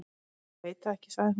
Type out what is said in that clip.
Ég veit það ekki, sagði hún.